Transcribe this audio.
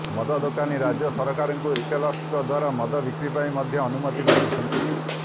ମଦ ଦୋକାନୀ ରାଜ୍ୟ ସରକାରଙ୍କୁ ରିଟେଲର୍ସଙ୍କ ଦ୍ବାରା ମଦ ବିକ୍ରି ପାଇଁ ମଧ୍ୟ ଅନୁମତି ମାଗିଛନ୍ତି